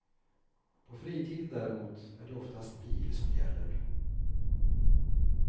På fritiden däremot är det oftast bil som gäller.